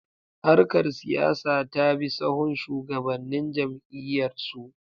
Harkar siyasa ta bi sahun shugabannin jam’iyyarsu.